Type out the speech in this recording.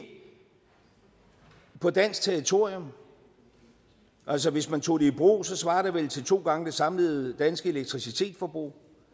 på dansk territorium altså hvis man tog det i brug svarer det vel til to gange det samlede danske elektricitetsforbrug